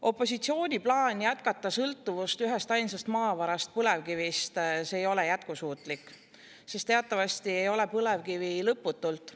Opositsiooni plaan jätkata sõltuvust ühestainsast maavarast, põlevkivist, ei ole jätkusuutlik, sest teatavasti ei ole põlevkivi lõputult.